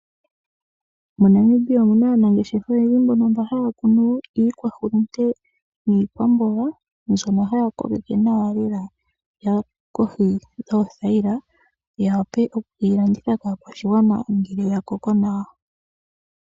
MoNamibia omuna aanangeshefa oyendji mbono haya kunu iikwahulunde niikwamboga, mbyono hayakokeke nawa lela kohi yoothayila, yawape okuyi landitha kaakwashigwana ngele ya koko nawa.